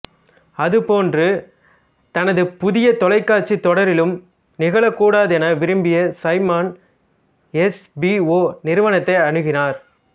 அது போன்று தனது புதிய தொலைக்காட்சித் தொடரிலும் நிகழக்கூடாதென விரும்பிய சைமன் எச்பிஓ நிறுவனத்தை அணுகினார்